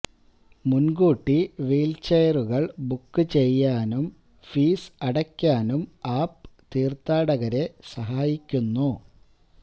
മുൻകൂട്ടി വീൽചെയറുകൾ ബുക്ക് ചെയ്യാനും ഫീസ് അടയ്ക്കാനും ആപ് തീർഥാടകരെ സഹായിക്കുന്നു